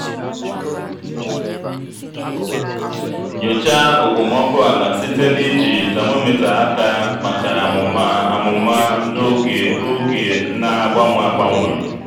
nyochaa okpomọkụ ala site na iji temometa aka maka amụma amụma n'oge oge na-agbanwe agbanwe.